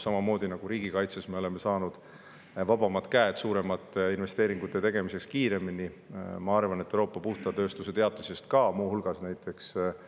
Samamoodi nagu riigikaitses me oleme saanud vabamad käed kiiremini suuremate investeeringute tegemiseks, ma arvan, et Euroopa puhta tööstuse teatise abil ka.